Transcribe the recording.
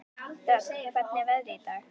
Dögg, hvernig er veðrið í dag?